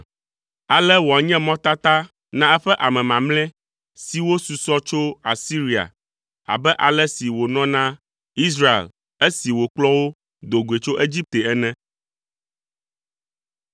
Ale wòanye mɔtata na eƒe ame mamlɛ siwo susɔ tso Asiria abe ale si wònɔ na Israel esi wòkplɔ wo do goe tso Egipte ene.